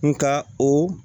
Nka o